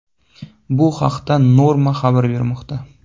Bu haqda Norma xabar bermoqda .